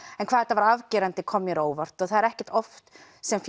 en hvað þetta var afgerandi kom mér á óvart og það er ekkert oft sem